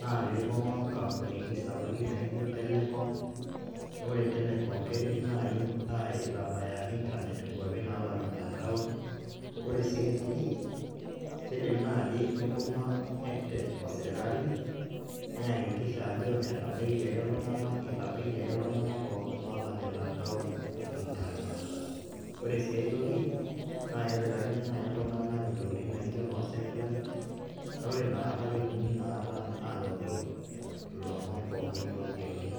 naa pibunga onkampunini sapukin naijo telecom , naa ore telecom amu keret nai aitabaya internet inkwapi nalamita town. Ore sii ae toki kidim naji nibunga edtech osirkali neyakikisha ajo itabaikiaki iltunganak, itabaikiaki iltunganak pookin lolamita town internet. Ore sii ae toki naa kepikakini nai iltunganak intokitin naijo noo satelite naa ore inakata ketumi inakata anoto ilomon pookin loyieuni.